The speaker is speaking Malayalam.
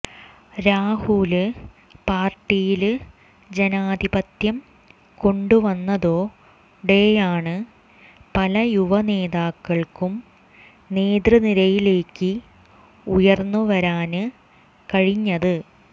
രാഹുല് പാര്ട്ടിയില് ജനാധിപത്യം കൊണ്ടുവന്നതോടെയാണ് പല യുവ നേതാക്കള്ക്കും നേതൃനിരയിലേക്ക് ഉയര്ന്നുവരാന് കഴിഞ്ഞത്